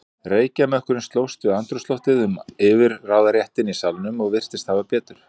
Reykjarmökkurinn slóst við andrúmsloftið um yfirráðaréttinn í salnum og virtist hafa betur.